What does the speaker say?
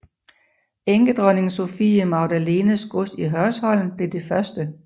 Enkedronning Sophie Magdalenes gods i Hørsholm blev det første